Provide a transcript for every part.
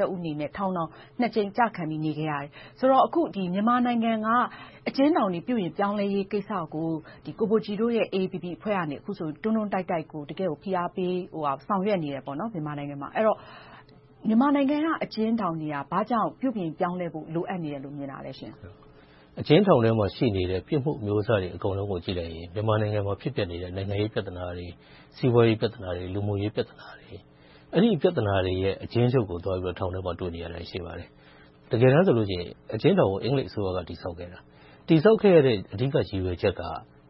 တဦးအနေနဲ့ ထောင်နှစ်ကြိမ်ကျခံ နေခဲ့ရတယ်။ ဆိုတော့ အခုမြန်မာနိုင်ငံက အကျဉ်းထောင်တွေ ပြုပြင်ပြောင်းလဲရေးကိစ္စကို ကိုဘိုကြည် AAPP အဖွဲ့ကနေ အခုလို တွန်းတွန်းတိုက်တိုက် ဖိအားပေးဆောင်ရွက်နေတယ်။ အဲဒီတော့ မြန်မာနိုင်ငံက အကျဉ်းထောင်တွေက ဘာကြောင့် ပြုပြင်ပြောင်းလဲဖို့ လိုအပ်တယ်လို့ မြင်တာလဲ။ အကျဉ်းထောင်ထဲမှာရှိတဲ့ ပြစ်မှုအမျိုးအစားတွေအားလုံးကို ကြည့်လိုက်ရင် မြန်မာနိုင်ငံမှာ ဖြစ်ပျက်နေတဲ့ နိုင်ငံရေးပြဿနာတွေ၊ စီးပွားရေးပြဿနာတွေ၊ လူမှုရေးပြဿနာတွေ - အဲဒီပြဿနာတွေရဲ့ အကျဉ်းချုပ်ကို ထောင်ထဲမှာ တွေ့နိုင်ရတာရှိပါတယ်။ တကယ်တမ်းဆိုရင် အကျဉ်းထောင်ကို အင်္ဂလိပ်အစိုးရက တည်ဆောက်ခဲ့တာ။ တည်ဆောက်ခဲ့တဲ့ အဓိကရည်ရွယ်ချက်က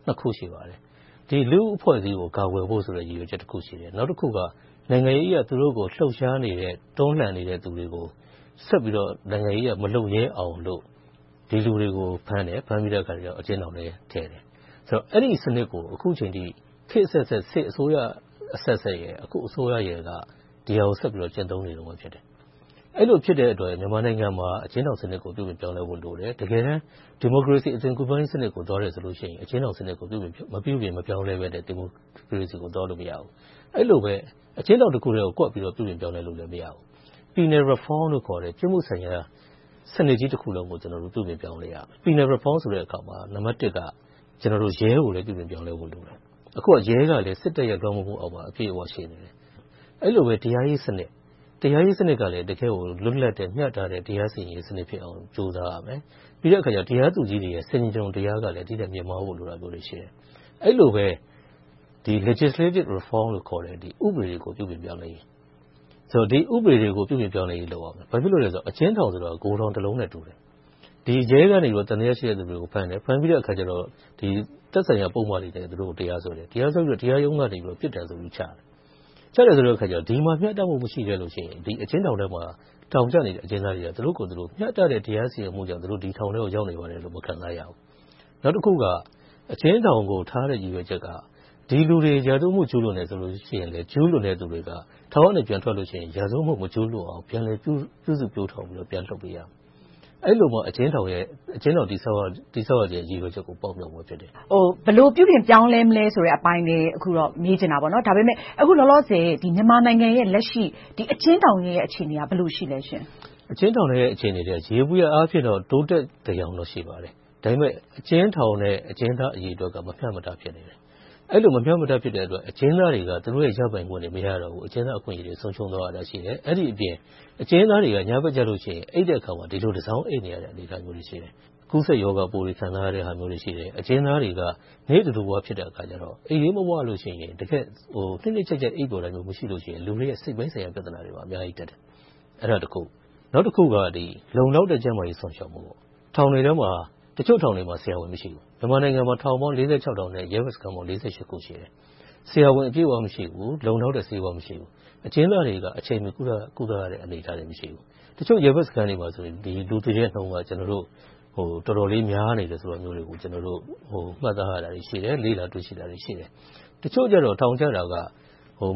နှစ်ခု ရှိပါတယ်။ လူ့အဖွဲ့အစည်းကို ကာကွယ်ဖို့ဆိုတဲ့ ရည်ရွယ်ချက်ရှိတယ်။ နောက်တခုက နိုင်ငံရေးအရ သူတို့ကိုလှုပ်ရှားနေတဲ့၊ တွန်းလှန်နေတဲ့ လူတွေကို ဆက်ပြီးတော့ နိုင်ငံရေးအရ မလုပ်ရဲအောင်လို့၊ ဒီလူတွေကိုဖမ်းတယ်။ ဖမ်းပြီးတော့ အကျဉ်းထောင်ထဲထည့်တယ်။ အဲဒီစနစ်ကို အခုအချိန်အထိ ခေတ်အဆက်ဆက်၊ စစ်အစိုးရအဆက်ဆက် နဲ့ အခုအစိုးရတို့က ဒီဟာကို ဆက်ပြီးတော့ ကျင့်သုံးနေတာဖြစ်တယ်။ အဲဒီလိုဖြစ်တဲ့အတွက် မြန်မာနိုင်ငံမှာ အကျဉ်းထောင်စနစ်ကို ပြုပြင်ပြောင်းလဲဖို့လိုတယ်။ တကယ်တမ်း ဒီမိုကရေစီ အသွင်ကူးပြောင်းရေးစနစ်ကို သွားတယ်ဆိုလို့ရှိရင် အကျဉ်းထောင်စနစ်ကို မပြုပြင်မပြောင်းလဲဘဲနဲ့ ဒီမိုကရေစီကိုသွားလို့ မရဘူး။ အဲဒီလိုပဲ အကျဉ်းထောင်တခုတည်းကို ကွက်ပြီးတော့ ပြုပြင်ပြောင်းလဲလို့ မရဘူး။ Penal Reform လို့ခေါ်တဲ့ ပြစ်မှုဆိုင်ရာစနစ်ကြီးတခုလုံးကို ကျနော်တို့ ပြုပြင်ပြောင်းလဲရမယ်။ Penal reform လို့ခေါ်ရာမှာ နံပတ်တစ်က ရဲကိုလည်း ပြုပြင်ပြောင်းလဲဖို့လိုတယ်။ အခုက ရဲကလည်း စစ်တပ်ရဲ့ လွှမ်းမိုးမှုအောက်မှာ အပြည့်အဝ ရှိနေတယ်။ အဲဒီလိုပဲ တရားရေးစနစ် - တရားရေးစနစ်ကလည်း တကယ့်ကို လွတ်လပ်တဲ့၊ မျှတတဲ့ တရားစီရင်ရေးစနစ်ဖြစ်အောင် ကြိုးပမ်းရမယ်။ ပြီးနောက် တရားသူကြီးတွေရဲ့ ဆင်ချင်တုံတရားက ဒီထက်မြင့်မားဖို့လိုတယ်။ အဲဒီလိုပဲ legislative reform လို့ခေါ်တဲ့ ဥပဒေကို ပြုပြင်ပြောင်းလဲရမယ်။ ဒီဥပဒေတွေကို ပြုပြင်ပြောင်းလဲရေးလုပ်ရမယ်။ ဘာဖြစ်လို့လဲဆိုတော့ အကျဉ်းထောင်ဆိုတာ ဂိုဒေါင်တလုံးနဲ့တူတယ်။ ရဲကနေ သံသယရှိတဲ့ လူတွေကိုဖမ်းတယ်။ သက်ဆိုင်ရာပုဒ်မတွေနဲ့ သူတို့ကို တရားစွဲတယ်။ တရားစွဲပြီးတော့ တရားရုံးကနေ ပြစ်ဒဏ်ဆိုပြီချတယ်. ချတယ်ဆိုတော့ ဒီမှာ မျှတမှု မရှိခဲ့လို့ရှိရင် အကျဉ်းထောင်ထဲမှာ ထောင်ကျနေတဲ့ အကျဉ်းသားတွေက သူတို့ကိုယ်သူတို့ တရားစီရင်မှုကြောင့် ဒီထောင်ရောက်နေရပါတယ်လို့ မခံစားရဘူး။ နောက်တခုက အကျဉ်းထောင်ကိုထားတဲ့ ရည်ရွယ်ချက်က ဒီလူတွေ ရာဇဝတ်ကျူးလွန်တယ်ဆိုလို့ရှိရင် ကျူးလွန်သူဘက်က ထောင်ကနေပြန်ထွက်လို့ရှိရင် ရာဇဝတ်မကျူးလွန်အောင် ပြန်လည်ပြုစုပျိုးထောင်ပြီးတော့ ပြန်လွှတ်ပေးရမယ်။ အဲဒီလိုမှ အကျဉ်းထောင် တည်ဆောက်ရခြင်း ရည်ရွယ်ချက်ကို ပေါက်မမြာက်မယ်။ ဘယ်လိုပြုပြင်ပြောင်းလဲမလဲဆိုတဲ့ အပိုင်းလည်း အခုတော့ မေးချင်တယ်။ ဒါပေမဲ့ အခုလောလောဆယ် မြန်မာနိုင်ငံရဲ့ လက်ရှိ အကျဉ်းထောင်တွေရဲ့ အခြေအနေက ဘယ်လိုရှိလဲ။ အကျဉ်းထောင်တွေရဲ့ လက်ရှိအခြေအနေက ယေဘုယျအားဖြင့်တော့ တိုးတက်သယောင် ရှိပါတယ်။ အကျဉ်းထောင်နဲ့ အကျဉ်းသားအရေအတွက်က မမျှမတ ဖြစ်နေတယ်။ အဲဒီလို မမျှမတဖြစ်တဲ့အတွက် အကျဉ်းသားတွေက သူတို့ရဲ့ရပိုင်ခွင့် မရတော့တဲ့ အကျဉ်းသားရပိုင်ခွင့်တွေ ဆုံးရှုံးသွားရတာတွေ ရှိတယ်။ အဲဒီအပြင် အကျဉ်းသားတွေက ညဘက်ကျလို့ရှိရင် အိပ်တဲ့အခါမှာ တစောင်းအိပ်နေရတဲ့ အခြေအနေရှိတယ်။ ကူးစက်ရောဂါပိုးတွေ ခံစားနေရတာတွေ ရှိတယ်။ အကျဉ်းသားတွေက နေ့တဓုဝ ဖြစ်တဲ့အခါကြတော့ အိပ်ရေးမဝလို့ရှိရင် တကယ့်ကို နှစ်နှစ်ခြိုက်ခြိုက် အိပ်ပျော်တာမျိုး မရှိတဲ့အခါ လူတွေရဲ့ စိတ်ပိုင်းဆိုင်ရာ ပြဿနာတွေ အများကြီးတက်တယ်။ နောက်တခုက လုံလောက်တဲ့ ကျန်းမာရေးစောင့်ရှောက်မှု - တချို့ထောင်တွေမှာ ဆရာဝန် မရှိဘူး။ မြန်မာနိုင်ငံမှာ ထောင်ပေါင်း ထောင်နဲ့ ရဲဘက်စခန်း ခု ရှိတယ်။ ဆရာဝန်အပြည့်အဝ မရှိဘူး။ လုံလောက်တဲ့ဆေးဝါး မရှိဘူး။ အကျဉ်းသားတွေက အချိန်မီကုသနိုင်တဲ့ အခြေအနေ မရှိဘူး။ တချို့ရဲဘက်စခန်းတွေမှာ လူသေနှုန်းက တော်တော်လေးများတယ်ဆိုတာကို ကျနော်တို့ မှတ်သားရတယ်။ လေ့လာတွေ့ရှိတာတွေ ရှိတယ်။ တချို့ကြတော့ ထောင်ကျတာက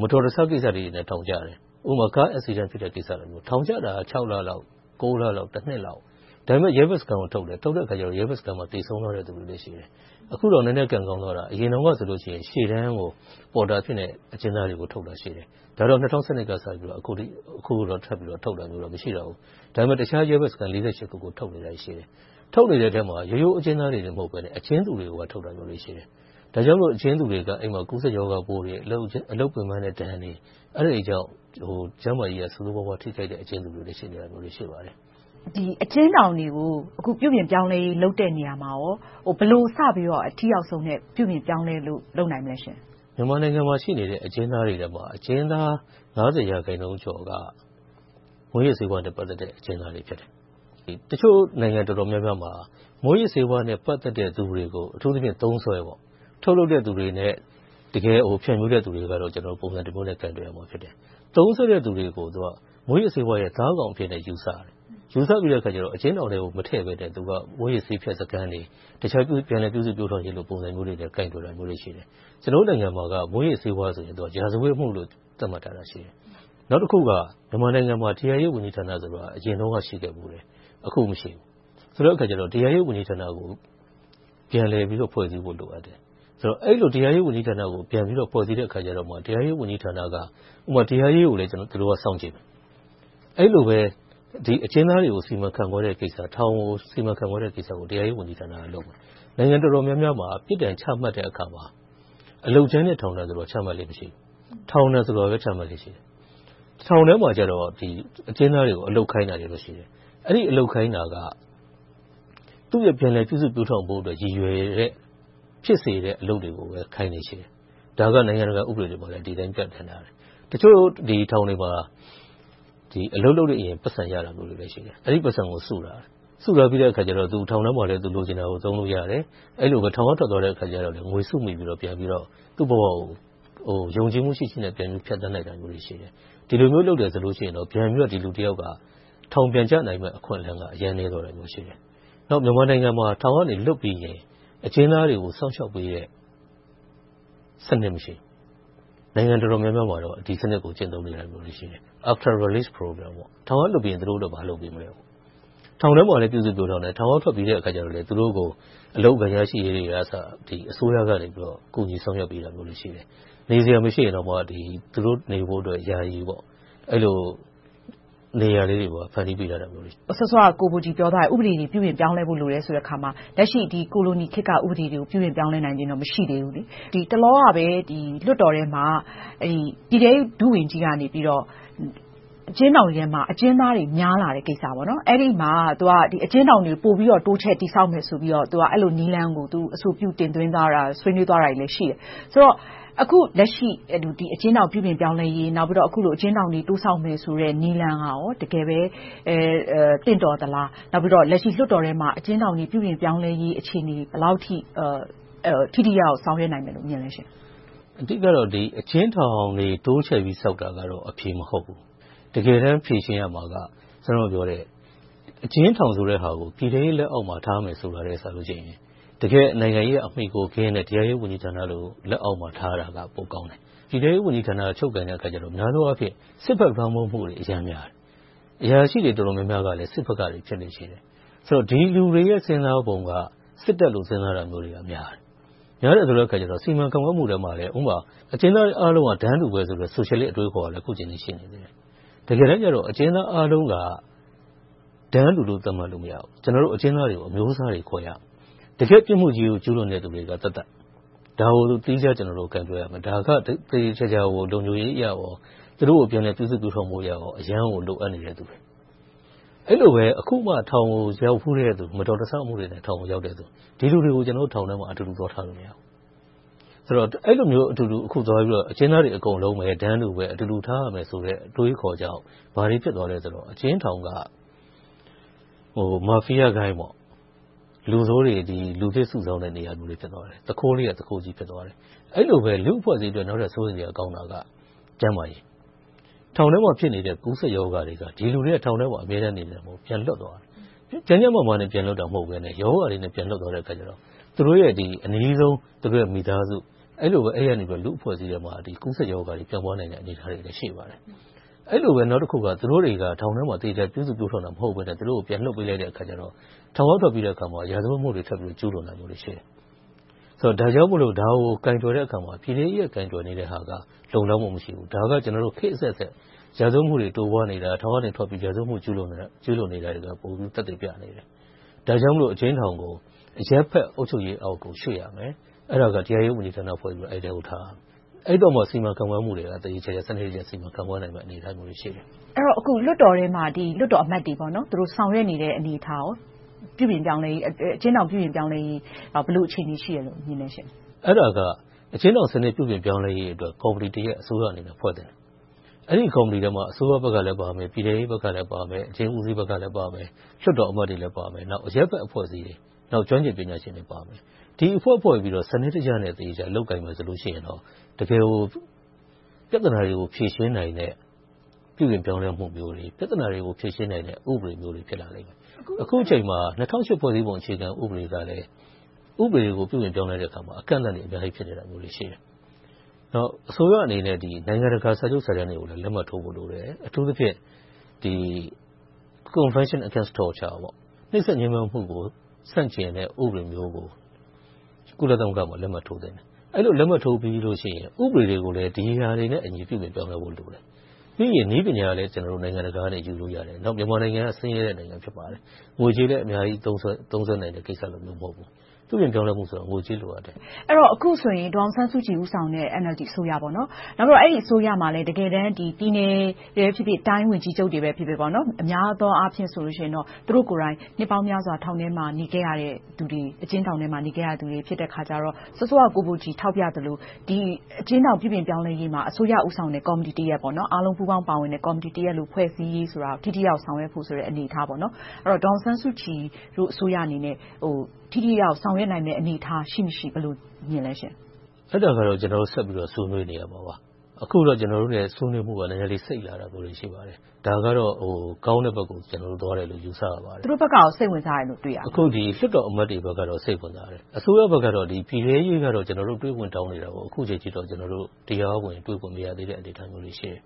မတော်တဆကိစ္စလေးတွေနဲ့ ထောင်ကျတယ်။ ဥပမာ ကားတိုက်မှုတွေနဲ့ ထောင်ကျတယ်။ ထောင်ကျတာက ခြောက်လ၊ တနှစ်လောက် ရဲဘက်စခန်းရောက်တယ်။ အဲဒီမှာ သေဆုံးသွားသူတွေ ရှိတယ်။ အခုတော့ နည်းနည်းကံကောင်းသွားတာ ရှိတယ်။ အရင်တုန်းကဆိုရင် ရှေ့တန်းကို အကျဉ်းသားတွေကို ပေါ်တာအဖြစ်နဲ့ ခေါ်သွားတာရှိတယ်။ ၂၀၁၂ က စပြီးတော့ အခုထိ အကျဉ်းသားတွေကိုထုတ်တာ မရှိဘူး။ ဒါပေမဲ့ တခြားရဲဘက်စခန်း ခုကိုထုတ်တာတော့ ရှိနေသေးတယ်။ ထုတ်နေတဲ့ထဲမှာ ရိုးရိုးအကျဉ်းသားတွေသာ မဟုတ်ဘဲနဲ့ အကျဉ်းသူတွေကိုပါထုတ်တာတွေ ရှိတယ်။ ဒါကြောင့်မို့ အကျဉ်းသူတွေက အဲဒီမှာ ကူးစက်ရောဂါပိုးတွေ၊ အလုပ်ပင်းပန်တဲ့ဒဏ်တွေနဲ့ ကျန်းမာရေးဆိုးဆိုးဝါးဝါး ထိခိုက်မှုတွေ ရှိလာတယ်။ ဒီအကျဉ်းထောင်တွေကို ပြုပြင်ပြောင်းလဲရေးလုပ်တဲ့နေရာမှာ ဘယ်လိုစပြီးတော့ အထိရောက်ဆုံးနဲ့ ပြုပြင်ပြောင်းလဲလို့ လုပ်နိုင်မလဲ။ မြန်မာနိုင်ငံမှာရှိတဲ့ အကျဉ်းသားတွေထဲမှာ အကျဉ်းသား ၅၀ ရာခိုင်နှုန်းကျော်က မူးယစ်ဆေးဝါးနဲ့ ပတ်သက်တဲ့ အကျဉ်းသားတွေ ဖြစ်တယ်။ တချို့နိုင်ငံတော်တော်များများမှာ မူးယစ်ဆေးဝါးနဲ့ ပတ်သက်တဲ့လူတွေကို အထူးသဖြင့် သုံးစွဲ၊ ထုတ်လုပ်တဲ့လူတွေနဲ့ ဖြန့်ဖြူးတဲ့လူတွေကတော့ ပုံစံတမျိုးနဲ့ ကိုင်တွယ်ကြတယ်။ သုံးစွဲတဲ့လူတွေကို မူးယစ်ဆေးဝါးရဲ့ သားကောင်အနေနဲ့ ယူဆတယ်။ ယူဆပြီးတော့ သူတို့တွေကို အကျဉ်းထောင်ထဲ မထည့်ဘဲနဲ့ မူးယစ်ဆေးဖြတ်စခန်းတွေ၊ တခြားပြန်လည်ပြုစုပျိုးထောင်ရေးတွေနဲ့ ကိုင်တွယ်တာမျိုးတွေ ရှိတယ်။ ကျနော်တို့နိုင်ငံမှာက မူးယစ်ဆေးဝါးဆိုတာနဲ့ ရာဇဝတ်မှုလို့ သတ်မှတ်ထားတယ်။ နောက်တခုက မြန်မာနိုင်ငံမှာ တရားရေးဝန်ကြီးဌာနဆိုတာရှိတယ်။ အခုမရှိဘူး။ ဆိုတဲ့အခါကြတော့ တရားရေးဝန်ကြီးဌာနကို ပြန်လည်ပြီးတော့ ဖွဲ့စည်းဖို့ လိုအပ်တယ်။ အဲဒီလို တရားရေးဝန်ကြီးဌာနကို ပြန်ဖွဲ့ပြီးတော့မှ တရားရေးဝန်ကြီးဌာနက တရားရေးကိုလည်း စောင့်ကြည့်မယ်။ အဲဒီလိုပဲ အကျဉ်းသားတွေကို စီမံခန့်ခွဲတဲ့ကိစ္စ။ ထောင်တွေကို စီမံခန့်ခွဲတဲ့ကိစ္စကို တရားရေးဝန်ကြီးဌာနက လုပ်မယ်။ နိုင်ငံတော်တော်များများမှာ ပြစ်ဒဏ်ချမှတ်တဲ့အခါမှာ အလုပ်ကြမ်းနဲ့ ထောင်ဒဏ်ဆိုတာ ချမှတ်လေ့မရှိဘူး။ ထောင်ဒဏ်ဆိုတာပဲ ချမှတ်လေ့ ရှိတယ်။ ထောင်ထဲမှာ အကျဉ်းသားတွေကို အလုပ်ခိုင်းတာတွေ ရှိတယ်။ အဲဒီအလုပ်ခိုင်းတာက သူ့ရဲ့ ပြန်လည်ပြုစုပျိုးထောင်ဖို့အတွက် ရည်ရွယ်တဲ့ ဖြစ်စေတဲ့ အလုပ်တွေကိုပဲ ခိုင်းလေ့ရှိတယ်။ ဒါက နိုင်ငံတကာဥပဒေတွေမှာလည်း ဒီအတိုင်း ပြဌာန်းထားတယ်။ တချို့ထောင်တွေမှာ အလုပ်လုပ်ရင် ပိုက်ဆံရတာတွေလည်း ရှိတယ်။ အဲဒီပိုက်ဆံကို စုထားပြီးတော့ ထောင်ထဲမှာလည်း သူလိုချင်တာကို သုံးလို့ရတယ်။ ထောင်ကထွက်သွားတဲ့အခါမှာလည်း စုမိပြီးတော့ သူ့ဘဝကို ယုံကြည်မှုရှိရှိနဲ့ ဖြတ်သန်းတာမျိုးတွေ ရှိတယ်။ ဒီလိုမျိုးလုပ်မယ်ဆိုရင် ဒီလူတယောက်က ထောင်ပြန်ကျနိုင်မယ့် အခွင့်အလမ်းက အရမ်းနည်းသွားတယ်။ နောက် မြန်မာနိုင်ငံမှာ ထောင်ကနေ လွတ်ပြီးရင်၊ အကျဉ်းသားတွေကို စောင့်ရှောက်ပေးတဲ့ စနစ် မရှိဘူး။ နိုင်ငံတော်တော်များများမှာတော့ ဒီစနစ်ကို ကျင့်သုံးနေတာ ရှိတယ်။ After released program ထောင်ကလွှတ်ပြီးရင် သူတို့အတွက် ဘာလုပ်ပေးမးလဲပေါ့။ ထောင်ထဲမှာ ပြုစုပျိုးထောင်တယ်။ ထောင်ကထွက်ပြီးရင်လည်း သူတို့ကို အလုပ်အကိုင် ရရှိရေးတွေကအစ အစိုးရက ကူညီစောင့်ရှောက်ပေးတာတွေ ရှိတယ်။ နေစရာမရှိရင်တောင်မှ သူတို့နေဖို့ ယာယီနေရာလေးတွေ ဖန်တီးပေးထားတာတွေ ရှိတယ်။ စောစောက ကိုဘိုကြည်ပြောသွားတယ် ဥပဒေတွေ ပြုပြင်ပြောင်းလဲဖို့လိုတယ် ပြောတဲ့အခါမှာ လက်ရှိ ကိုလိုနီခေတ်က ဥပဒေတွေကို ပြုပြင်ပြောင်းလဲနိုင်စွမ်း မရှိသေးဘူးလေ။ တလောကပဲ လွှတ်တော်ထဲမှာ ပြည်ထဲရေး ဒုဝန်ကြီးက အကျဉ်းထောင်ထဲမှာ အကျဉ်းသားတွေ များလာတဲ့ကိစ္စ - အဲဒီမှာ သူက အကျဉ်းထောင်တွေကို ပိုပြီးတော့ တိုးချဲ့တည်ဆောက်မယ်ဆိုတဲ့ နည်းလမ်းကို အဆိုပြုတင်သွင်းသွားတာကို တွေ့ရတယ်။ ဆိုတော့ အခုလက်ရှိ အကျဉ်းထောင်ပြုပြင်ပြောင်းလဲရေး၊ အကျဉ်းထောင်တွေ တိုးဆောက်မယ်ဆိုတဲ့ နည်းလမ်းက တကယ်ပဲသင့်တော်သလား။ နောက်ပြီးတော့ လွှတ်တော်ထဲမှာ အကျဉ်းထောင်တွေ ပြုပြင်ပြောင်းလဲရေး အခြေအနေတွေ ဘယ်လောက်အထိ ထိထိရောက်ရောက် ဆောင်ရွက်နိုင်မလဲလို့ မြင်လဲ။ အဓိကတော့ အကျဉ်းထောင်တွေ တိုးချဲ့ပြီးဆောက်တာကတော့ အဖြေမဟုတ်ဘူး။ တကယ်တမ်း ဖြေရှင်းရမှာက အခုနပြောတဲ့ အကျဉ်းထောင်ဆိုတဲ့ဟာကို ပြည်ထဲရေးလက်အောက်မှာ ထားမှာဆိုတာနဲ့ တကယ့် နိုင်ငံရေးအရ အမှီအခိုကင်းတဲ့ တရားရေးဝန်ကြီးဌာနလို့ လက်အောက်မှာထားတာက ပိုကောင်းတယ်။ ပြည်ထဲရေးဝန်ကြီးဌာနက ချုပ်ကိုင်တဲ့အခါကြတော့ များသောအားဖြင့် စစ်ဖက်လွှမ်းမိုးမှုတွေ အရမ်းများတယ်။ အရာရှိတွေ တော်တော်များများကလည်း စစ်ဖက်ကဖြစ်လေ့ရှိတယ်။ ဒီလူတွေရဲ့ စဉ်းစားပုံက စစ်တပ်လို စဉ်းစားတာများတယ်။ များတဲ့အခါကြတော့ စီမံခန့်ခွဲမှုထဲမှာလည်း အကျဉ်းသားတွေအားလုံးက တန်းတူပဲဆိုတဲ့ ဆိုရှယ်လစ်အတွေးအခေါ်ကလည်း အခုအချိန်အထိ ရှိနေသေးတယ်။ တကယ်တမ်းကြတော့ အကျဉ်းသားအားလုံးက တန်းတူလို့ သတ်မှတ်လို့ မရဘူး။ ကျနော်တို့ အကျဉ်းသားတွေကို အမျိုးအစားတွေ ခွဲရမယ်။ တကယ့်ပြစ်မှုကြီးကို ကျူးလွန်သူတွေကသက်သက်၊ ဒါကို ကျနော်တို့ သီးခြားကိုင်တွယ်ရမယ်။ သေသေချာချာ လုံခြုံရေးအရကော၊ သူတို့ကို ပြုစုပျိုးထောင်ဖို့ကိုရော အရမ်းကို လိုအပ်နေတဲ့လူတွေ။ အဲဒီလိုပဲ အခုမှထောင်ကို ရောက်ဖူးတဲ့လူတွေ၊ မတော်မဆမှုတွေနဲ့ ရောက်တဲ့လူတွေ - ဒီလူတွေကို ကျနော်တို့ ထောင်ထဲမှာ အတူတူသွားထားလို့ မရဘူး။ အဲဒီလို အကျဉ်းသားတွေကို အတူတူ - တန်းတူပဲ၊ အတူတူထားရမယ်ဆိုတဲ့ အတွေးအခေါ်ကြောင့် ဘာတွေဖြစ်သွားလဲဆိုတော့ အကျဉ်းထောင်က မာဖီယာဂိုဏ်း လူဆိုးတွေ လူသစ်စုဆောင်းတဲ့နေရာမျိုး ဖြစ်သွားတယ်။ သူခိုးလေးတွေက သူခိုးကြီး ဖြစ်သွားတယ်။ အဲဒီလိုပဲ လူ့အဖွဲ့အစည်းအတွက် နောက်ထပ် စိုးရိမ်စရာကောင်းတာက ကျန်းမာရေး။ ထောင်ထဲမှာ ဖြစ်နေတဲ့ ကူးစက်ရောဂါတွေက ဒီလူတွေက အမြဲတမ်း ထောင်ထဲမှာနေကြတာ မဟုတ်ဘူး။ ပြန်လွတ်လာကြတယ်။ ကျန်းကျန်းမာမာနဲ့ ပြန်လွတ်တာ မဟုတ်ဘဲနဲ့ ရောဂါတွေနဲ့ ပြန်လွတ်သွားကြတဲ့အခါကြတော့ သူတို့ရဲ့ အနီးဆုံး မိသားစုကနေ လူ့အဖွဲ့အစည်းထဲမှာ ကူးစက်ရောဂါတွေ ပြန့်ပွားနိုင်တဲ့ အခြေအနေတွေ ရှိပါတယ်။ အဲဒီလိုပဲ နောက်တခုက သူတို့တွေက ထောင်ထဲမှာ သေချာပြုစုပျိုးထောင်တာ မဟုတ်ဘဲ၊ ပြန်လွှတ်ပေးလိုက်တဲ့အခါကြတော့ ထောင်ကထွက်ပြီးတဲ့အခါမှာ ရာဇဝတ်မှုတွေ ထပ်ပြီးတော့ ကျူးလွန်တာတွေ ရှိတယ်။ ဒါကြောင့်မို့ ဒါကိုကိုင်တွယ်တဲ့အခါမှာ ပြည်ထဲရေးက ကိုင်တွယ်တဲ့ဟာက လုံလောက်မှု မရှိဘူး။ ဒါက ကျနော်တို့ ခေတ်အဆက်ဆက် ရာဇဝတ်မှုတွေ တိုးပွားနေတာ ထောင်ကနေထွက်ပြီး ရာဇဝတ်မှုတွေ ကျူးလွန်နေတာတွေကို ပိုပြီးသက်သေပြနေတယ်။ ဒါကြောင့်မို့ အကျဉ်းထောင်ကို အရပ်ဖက်အုပ်ချုပ်ရေးဘက်ကို ရွှေ့ရမယ်။ အဲဒါက တရားရေးဝန်ကြီးဌာန ဖွဲ့ပြီးတော့ အဲဒီထဲမှာ ထားရမယ်။ အဲဒီအခါကြမှ စီမံခန့်ခွဲမှုတွေကို သေသေချာချာ စီမံလုပ်ကိုင်နိုင်မယ့် အနေအထားတွေ ရှိတယ်။ အဲဒီတော့ အခု လွှတ်တော်ထဲမှာ လွှတ်တော်အမတ်တွေ သူတို့ ဆောင်ရွက်နေတဲ့ အနေအထား - အကျဉ်းထောင် ပြုပြင်ပြောင်းလဲရေး ဘယ်လိုအခြေအနေ ရှိလဲ။ အဲဒါက အကျဉ်းထောင်စနစ် ပြုပြင်ပြောင်းလဲရေးအတွက် ကော်မတီတရပ် အစိုးရအနေနဲ့ ဖွဲ့သင့်တယ်။ အဲဒီကော်မတီထဲမှာ အစိုးရဘက်ကလည်းပါမယ်။ ပြည်ထဲရေးဘက်ကလည်း ပါမယ်။ အကျဉ်းဦးစီးဘက်ကလည်း ပါမယ်။ လွှတ်တော်အမတ်တွေလည်း ပါမယ်။ အရပ်ဘက်အဖွဲ့အစည်းတွေ၊ ကျွမ်းကျင်ပညာရှင်တွေ ပါမယ်။ ဒီအဖွဲ့ဖွဲ့ပြီးတော့ စနစ်တကျနဲ့ သေချာလုပ်ကိုင်မယ်ဆိုရင်တော့ တကယ်ကို ပြဿနာတွေကို ဖြေရှင်းနိုင်တဲ့ ပြုပြင်ပြောင်းလဲမှုမျိုးတွေ၊ ပြဿနာတွေကို ဖြေရှင်းနိုင်တဲ့ ဥပဒေမျိုးတွေ ဖြစ်လာလိမ့်မယ်။ အခုအချိန်မှာ ၂၀၀၈ ဖွဲ့စည်းပုံအခြေခံဥပဒေကလည်း ဥပဒေကို ပြုပြင်ပြောင်းလဲလိုက်တဲ့အခါမှာ အကန့်အသတ်တွေ အများကြီးရှိနေတယ်။ အစိုးရအနေနဲ့ နိုင်ငံတကာ စာချုပ်စာတမ်းတွေကိုလည်း လက်မှတ်ထိုးဖို့လိုတယ်။ အထူးသဖြင့် Convention against torture နှိပ်စက်ညဉ်းပမ်းမှုကို ဆန့်ကျင်တဲ့ ဥပဒေမျိုးကို ကုလသမဂ္ဂမှာ လက်မှတ်ထိုးသင့်တယ်။ အဲဒီလို လက်မှတ်ထိုးပြီးရင် ဥပဒေတွေကိုလည်း ဒီဟာတွေနဲ့အညီ ပြုပြင်ပြောင်းလဲဖို့ လိုတယ်။ ပြီးရင် နည်းပညာလည်း နိုင်ငံတကာကနေ ယူလို့ရတယ်။ မြန်မာနိုင်ငံက ဆင်းရဲတဲ့နိုင်ငံ ဖြစ်ပါတယ်။ ငွေကြေးလည်း အများကြီးသုံးစွဲနိုင်တာ မဟုတ်ပါဘူး။ ပြုပြင်ပြောင်းလဲမှုဆိုတာ ငွေကြေးလိုအပ်တယ်။ အခုဆိုရင် ဒေါ်အောင်ဆန်းစုကြည် ဦးဆောင်တဲ့ NLD အစိုးရ - နောက်ပြီးတော့ အဲဒီအစိုးရမှာလည်း တကယ်တမ်း ပြည်နယ်၊ တိုင်းဝန်ကြီးချုပ်တွေပဲ ဖြစ်ဖြစ် အများအားဖြင့် သူတို့ကိုယ်တိုင် နှစ်ပေါင်းများစွာ အကျဉ်းထောင်ထဲမှာ နေခဲ့ရတဲ့လူတွေ ဖြစ်တဲ့အခါကြတော့ စောစောက ကိုဘိုကြည် ထောက်ပြသလို ဒီအကျဉ်းထောင် ပြုပြင်ပြောင်းလဲရေးမှာ အစိုးရဦးဆောင်တဲ့ ကော်မတီတရပ်၊ အားလုံးပူးပေါင်းပါဝင်တဲ့ ကော်မတီတရပ် ဖွဲ့စည်းရေးကို ထိထိရောက်ရောက် ဆောင်ရွက်ဖို့ အနေအထား။ အဲဒီတော့ ဒေါ်အောင်ဆန်းစုကြည်အစိုးရအနေနဲ့ ထိထိရောက်ရောက် ဆောင်ရွက်နိုင်မယ့် အနေအထား ရှိမရှိ ဘယ်လိုမြင်ပါလဲ။ အဲဒါကတော့ ကျနော်တို့ဆက်ပြီးတော့ ဆွေးနွေးနေရမှာပါ။ အခုတော့ ကျနော်တို့တွေနဲ့ ဆွေးနွေးမှုတွေ နည်းနည်းလေး စိတ်လာတာတော့ ရှိတယ်။ ဒါကတော့ ကောင်းတဲ့ဘက်ကို သွားနေတယ်လို့ ယူဆရပါတယ်။ သူတို့ဘက်က စိတ်ဝင်စားတယ်လို့ တွေ့ရလား။ လွှတ်တော်အမတ်တွေဘက်ကတော စိတ်ဝင်စားတယ်။ အစိုးရဘက်ကတော့ ပြည်ထဲရေးကတော့ တွေ့ခွင့်တောင်းနေတာကိုတော့ အခုထိ တရားဝင်တွေ့ခွင့် မရသေးတဲ့ အနေအထားမှာရှိတယ်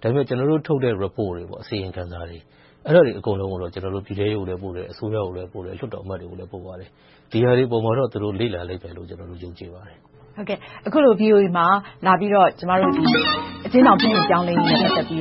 ။ ဒါပေမဲ့ ကျနော်တို့ထုတ်တဲ့ Reports တွေ၊ အစီရင်ခံစာတွေ အကုန်လုံးကိုတော့ ကျနော်တို့ ပြည်ထဲရေးကို ပို့တယ်။ အစိုးရကိုလည်း ပို့တယ်။ ဒီဟာတွေပေါ်မှာတော့ သူတို့ လေ့လာလိမ့်မယ်လို့ ယုံကြည်ပါတယ်။ အခုလို VOA မှာ လာပြီးတော့ အကျဉ်းထောင်ပြုပြင်ပြောင်းလဲရေးနဲ့ ပတ်သက်ပြီး